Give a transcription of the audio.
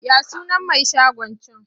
Ya sunan mai shagon can?